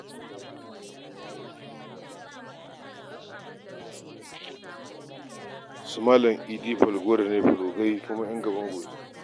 Su Malam Idi Falgore ne fulogai kuma ƴan gaban goshin oga.